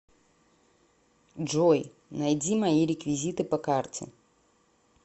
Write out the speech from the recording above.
джой найди мои реквизиты по карте